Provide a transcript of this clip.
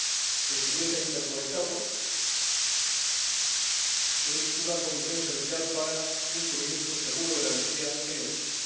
y que estuviese interconectado, es una condición esencial para un suministro seguro de la energía en Europa.